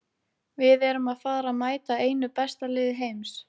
Við erum að fara að mæta einu besta liði heims.